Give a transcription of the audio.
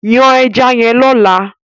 Yan ẹja yẹn lọ́la!